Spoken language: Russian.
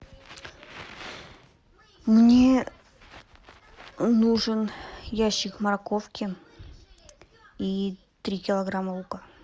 мне нужен ящик морковки и три килограмма лука